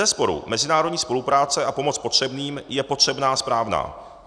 Bezesporu mezinárodní spolupráce a pomoc potřebným je potřebná a správná.